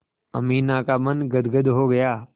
अमीना का मन गदगद हो गया